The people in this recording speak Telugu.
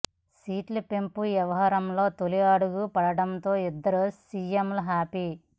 సీట్ల పెంపు వ్యవహారంలో తొలి అడుగు పడడంతో ఇద్దరు సీఎంలు హ్యాపీ